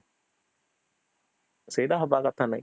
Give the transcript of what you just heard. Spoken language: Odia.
ସେଟା ହବ କଥା ନାହିଁ